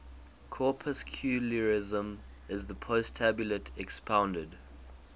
corpuscularianism is the postulate expounded